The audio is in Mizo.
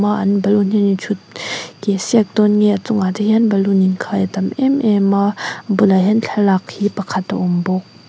a an bloon hi an in ṭhut keh siak dawn nge a chungah te hian baloon inkhai a tam em em a a bulah hian thlalak hi pakhat a awm bawk.